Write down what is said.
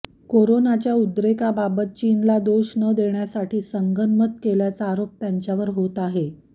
करोनाच्या उद्रेकाबाबत चीनला दोष न देण्यासाठी संगनमत केल्याचा आरोप त्यांच्यावर होत आहे